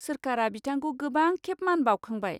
सोरखारा बिथांखौ गोबांखेब मान बावखांबाय।